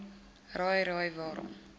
raai raai waarom